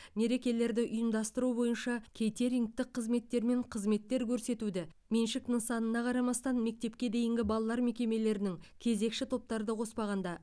мерекелерді ұйымдастыру бойынша кейтерингтік қызметтер мен қызметтер көрсетуді меншік нысанына қарамастан мектепке дейінгі балалар мекемелерінің кезекші топтарды қоспағанда